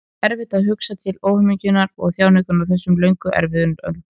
Það er svo erfitt að hugsa til óhamingjunnar og þjáninganna á þessum löngu erfiðu öldum.